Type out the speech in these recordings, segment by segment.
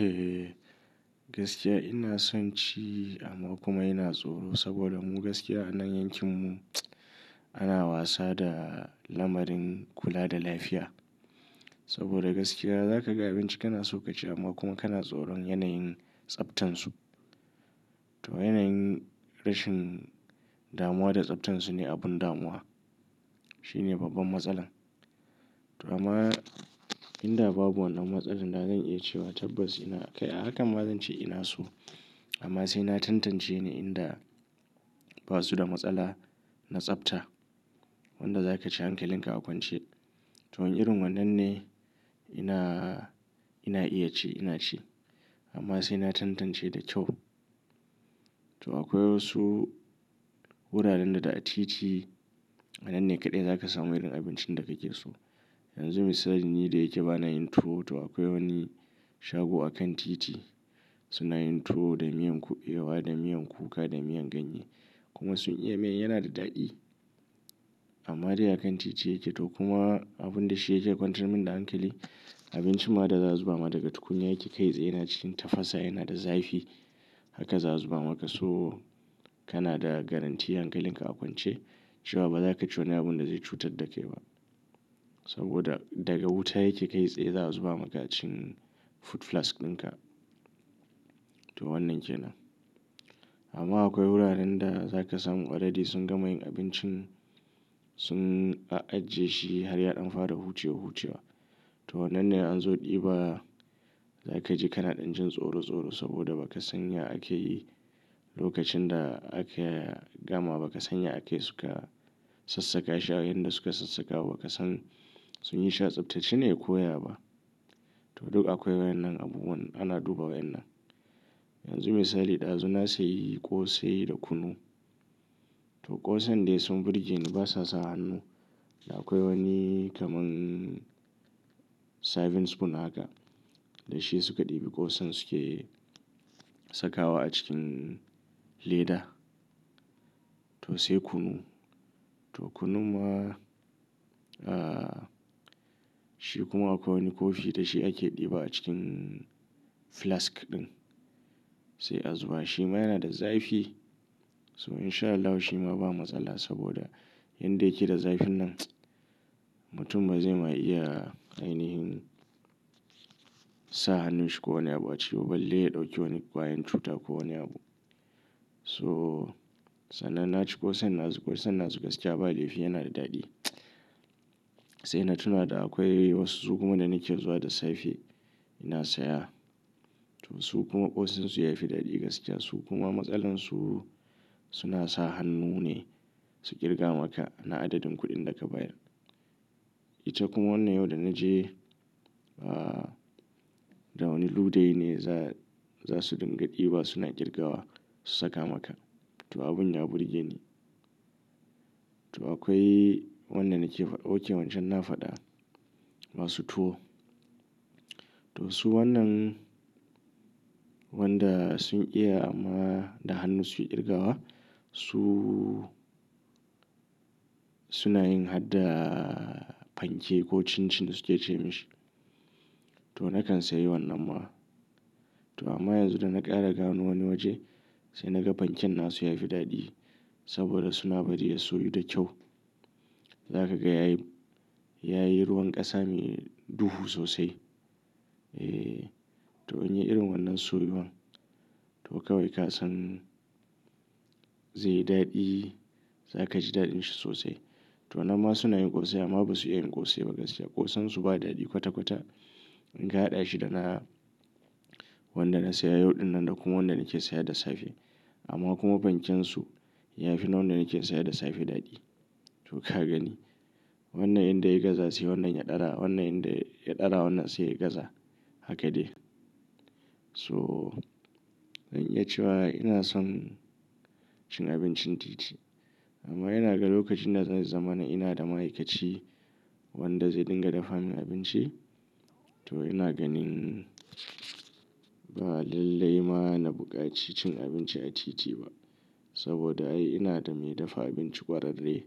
Eh gaskiya ina son ci amma kuma ina tsoro saboda mu gaskiya a nan yankin mu ana wasa da lamarin kula da lafiya. Saboda gaskiya za ka ga abinci kana so ka ci amma kuma kana tsoron yanayin tsaftan su. To yanayin rashin damuwa da tsaftan su ne abun damuwa. Shi ne babban matsalar. To amma in da babu wannan matsalar na zan iya cewa tabbas ina kai, haka ma zan ce ina so. Amma sai na tantance ne in da ba su da matsala na tsafta. Wanda za ka ci hankalin ka a kwance. To wani irin wannan ne ina, ina iya ci ina ci. Amma sai na tantance da kyau. To akwai wasu wuraren da da a titi a nan ne kaɗai za ka samu irin abincin da kake so. Yanzu misali ni da yake bana yin tour to akwai wani shago a kan titi suna yin tuwo da miyan ku, ewa da miyan kuka, da miyan ganye. Kuma sun iya miyan yana da daɗi. Amma dai a kan titi yake to kuma abun da shi yake kwantar min da hankali abinci ma da za su ba maka tukunya yake kai tsaye yana cikin tafasa yana da zafi. Haka za su ba maka so kana da garantti hankalin ka a kwance cewa ba za ka ci wani abun da zai cutar da kai ba. Saboda daga wuta yake kai tsaye za su ba maka cikin food flask dinka. To wannan kenan. Amma akwai wuraren da za ka samu waɗanda sun gama yin abincin sun ajiye shi har ya ɗan fara huce hucewa. To wannan yanzu ɗiba za ka je kana ɗan jin tsoro tsoro saboda ba ka san ya ake yi lokacin da aka gama ba ka san ya ake suka sassaka shi. Abin da suka sassaka ba ka san sun yi sha tsaftace ne ko ya ba. To duk akwai wayan nan abubuwan ana duba wayan nan. Yanzu misali ɗazu na sai yi ƙosai da kunu. To ƙosan dai sun burge ni ba sasa hannu. Da akwai wani kaman serving spoon haka da shi suka ɗibi ƙosan suke saka wa a cikin leda. To sai kunu. To kunu ma shi kuma akwai wani kofi da shi ake ɗiba a cikin flask ɗin. Sai a zuba shi ma yana da zafi. So in sha Allah shi ma ba matsala saboda yanda yake da zafin nan mutum bazai ma iya ainihin sa hannun shi ko wani abu a ciki. Balai ya ɗauki wani kwayan cuta ko wani abu. So sannan na ci ƙosan na, su ƙosan na su gaskiya ba dai fi yana da daɗi. Sai na tuna da akwai wasu su kuma da nake zuwa da safe ina saya. To su kuma ƙosasin su ya fi daɗi gaskiya su kuma matsalar su, suna sa hannu ne su ƙirga maka na adadin kuɗin da ka bayar. Ita kuma wannan yau da na je da wani lugai ne za, za su dinga ɗiba suna ƙirgawa su saka maka. To abun ya burge ni. To akwai wannan nake, wanke wancan na faɗa masu tuwo. To su wannan wanda sun iya amma da hannu su ƙirgawa su, suna yin hatta fanke ko cin cin suke ce ma shi. To na kan sayi wannan ma. To amma yanzu da na ƙara ganin wani waje sai na ga fanken na su ya fi daɗi saboda suna bari ya soyu da kyau. Za ka ga yayi, yayi ruwan ƙasa mai duhu sosai. To in yi irin wannan soyuwan to kawai ka san zai yi daɗi. Za ka ji daɗin shi sosai. To wannan ma suna yin ƙosai amma ba su iya yin ƙosai ba gaskiya. Ƙosan su ba daɗi kwata kwata in ka haɗa shi da na wannan da na saya yau ɗin nan da kuma wannan nake saya da safe. Amma kuma fanken su ya fi na wannan nake saya da safe daɗi. To ka gani wannan inda ya yi gaza sai wannan ya ɗara wannan inda ya ɗara wannan sai ya gaza. Haka ne. So zan iya cewa ina son cin abincin titi. Amma yana ga lokacin da zai zama na ina da ma'aikaci wanda zai dinga dafa min abinci to ina ganin ba lallai ma na buƙaci cin abinci a titi ba. Saboda ai ina da me dafa abinci ƙwararre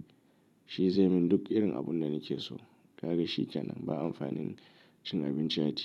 shi zai min duk irin abun da nake so. Ka ga shi kenan ba amfanin cin abinci a titi.